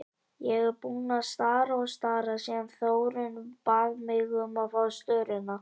Ég er búin að stara og stara síðan Þórunn bað mig um að fá störuna.